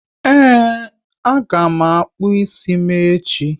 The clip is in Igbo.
Ee, a ga m akpụ ịsị m echi